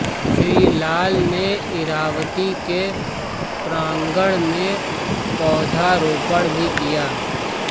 श्री लाल ने ईरावती के प्रांगण में पौधारोपण भी किया